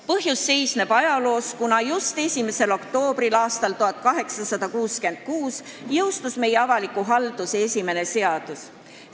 Põhjus seisneb ajaloos: just 1. oktoobril aastal 1866 jõustus esimene meie ala avalikku haldust käsitlev seadus.